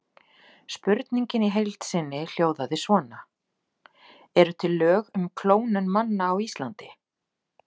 Spurningin í heild sinni hljóðaði svona: Eru til lög um klónun manna á Íslandi?